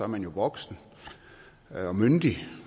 man voksen og myndig